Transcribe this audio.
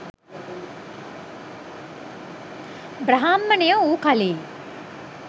බ්‍රාහ්මණයෝ වූ කලී